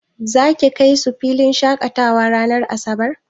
Za ki kai su filin shaƙatawa ranar asabar?